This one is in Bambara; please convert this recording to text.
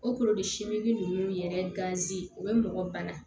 O siminni nunnu yɛrɛ gazi u be mɔgɔ bana